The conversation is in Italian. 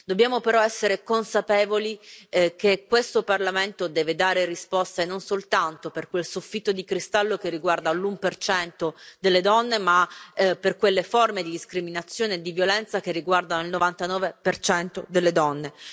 Dobbiamo però essere consapevoli del fatto che questo Parlamento deve dare risposte, non soltanto per quel soffitto di cristallo che riguarda l'1 delle donne, ma per quelle forme di discriminazione e di violenza che riguardano il 99 delle donne